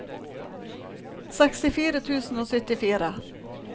sekstifire tusen og syttifire